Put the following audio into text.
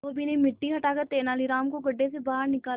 धोबी ने मिट्टी हटाकर तेनालीराम को गड्ढे से बाहर निकाला